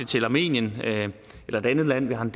til armenien eller et andet land vi har en